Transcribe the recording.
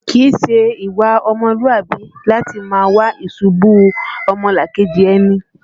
Kìí ṣe ìwà ọmọlúàbí láti máa wá ìṣubú ọmọlàkejì ẹni